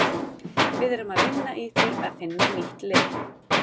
Við erum að vinna í því að finna nýtt lið.